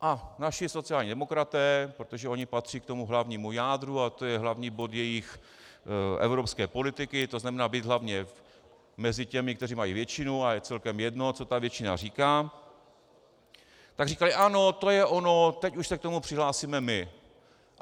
A naši sociální demokraté, protože oni patří k tomu hlavnímu jádru a to je hlavní bod jejich evropské politiky, to znamená být hlavně mezi těmi, kteří mají většinu, a je celkem jedno, co ta většina říká, tak říkali: ano, to je ono, teď už se k tomu přihlásíme my.